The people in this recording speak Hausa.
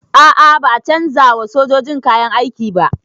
A'a ba a canza wa sojojin kayan aiki ba